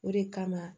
O de kama